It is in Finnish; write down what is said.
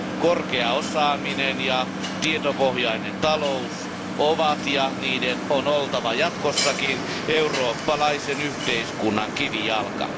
Korkea osaaminen ja tietopohjainen talous ovat ja niiden on oltava jatkossakin eurooppalaisen yhteiskunnan kivijalka.